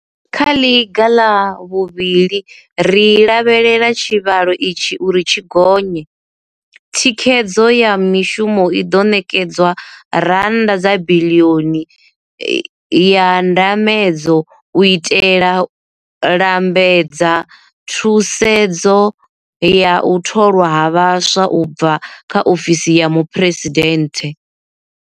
Kha ḽiga ḽa vhuvhili ri lavhelela tshivhalo itshi uri tshi gonye, thikhedzo ya mishumo i ḓo ṋekedzwa R1 biḽioni ya ndambedzo u itela lambedza thusedzo ya u tholwa ha vhaswa u bva kha ofisi ya muphuresidenthe.